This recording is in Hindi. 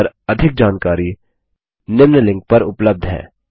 इस पर अधिक जानकारी निम्न लिंक पर उपलब्ध है